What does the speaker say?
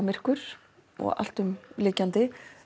myrkur og allt umlykjandi